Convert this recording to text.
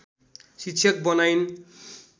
शिक्षक बनाइन्